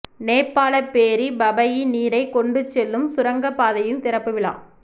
நேபாளப் பேரி பபயி நீரை கொண்டுச்செலும் சுரங்கப் பாதையின் திறப்பு விழா